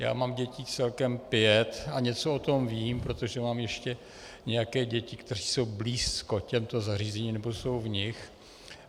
Já mám dětí celkem pět a něco o tom vím, protože mám ještě nějaké děti, které jsou blízko těmto zařízením nebo jsou v nich.